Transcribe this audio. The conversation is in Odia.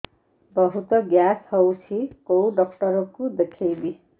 ବହୁତ ଗ୍ୟାସ ହଉଛି କୋଉ ଡକ୍ଟର କୁ ଦେଖେଇବି